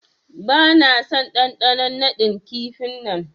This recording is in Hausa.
Bana son dandanon nadin kifi'n nan.